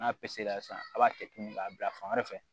N'a pisesera sisan a b'a kɛ tuguni k'a bila fan wɛrɛ fɛ